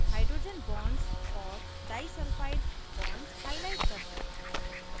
* hydrogen bonds और disulphide bonds highlight करना